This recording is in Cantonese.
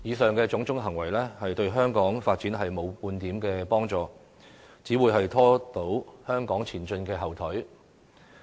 這種種行為對香港發展沒半點幫助，只會拖住香港前進的後腿。